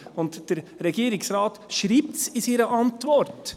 Der Regierungsrat schreibt es in seiner Antwort: